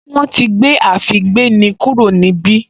Wọ́n ti gbé àfígbéni kúrò níbí